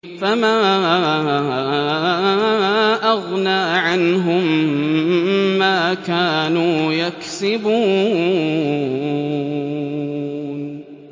فَمَا أَغْنَىٰ عَنْهُم مَّا كَانُوا يَكْسِبُونَ